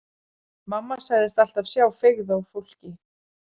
Mamma sagðist alltaf sjá feigð á fólki.